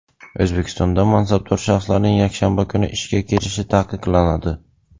O‘zbekistonda mansabdor shaxslarning yakshanba kuni ishga kelishi taqiqlanadi.